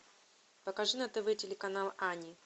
покажи на тв телеканал ани